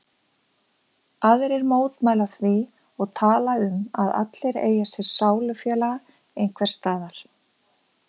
Aðrir mótmæla því og tala um að allir eigi sér sálufélaga einhvers staðar.